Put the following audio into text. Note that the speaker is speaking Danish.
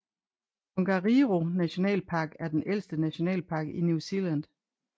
Tongariro Nationalpark er den ældste nationalpark i New Zealand